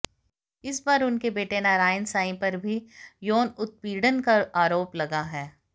इस बार उनके बेटे नारायण साईं पर भी यौन उत्पीड़न का आरोप लगा है